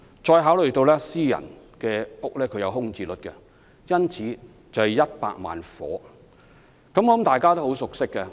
再考慮到私人住宅亦有空置率，因此需要100萬個住屋單位。